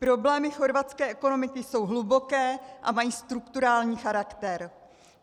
Problémy chorvatské ekonomiky jsou hluboké a mají strukturální charakter.